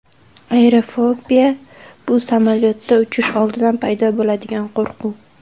Aerofobiya – bu samolyotda uchish oldidan paydo bo‘ladigan qo‘rquv.